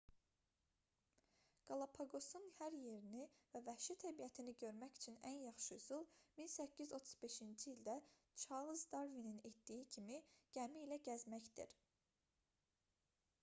qalapaqosun hər yerini və vəhşi təbiətini görmək üçün ən yaxşı üsul 1835-ci ildə çarlz darvinin etdiyi kimi gəmi ilə gəzməkdir